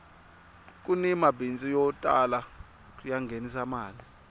kuni mabindzu yo tala ya nghenisaka mali